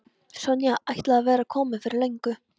Sonja ætlaði að vera komin fyrir löngu.